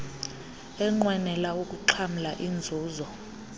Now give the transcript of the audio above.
enqwenela ukuxhamla iinzuzo